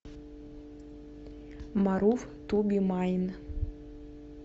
марув ту би майн